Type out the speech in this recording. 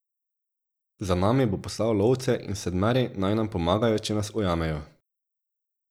Za nami bo poslal lovce in Sedmeri naj nam pomagajo, če nas ujamejo.